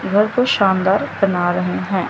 घर को शानदार बना रहे हैं।